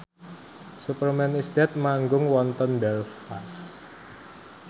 Superman is Dead manggung wonten Belfast